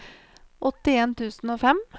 åttien tusen og fem